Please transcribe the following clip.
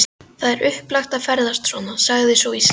Það er svo upplagt að ferðast svona, sagði sú íslenska.